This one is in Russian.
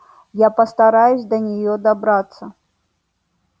я постараюсь до неё добраться